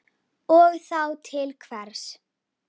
Og þá til hvers?